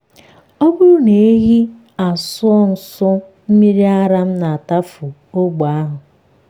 ọ bụrụ na ehi asụọ nso mmiri ara m na-atụfu ogbe ahụ.